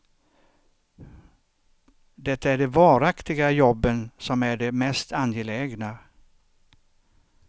Det är de varaktiga jobben som är de mest angelägna.